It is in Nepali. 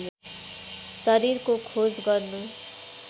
शरीरको खोज गर्नु